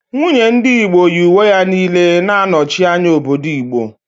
Nwunye ndị Igbo yi uwe ya niile na-anọchi anya obodo Igbo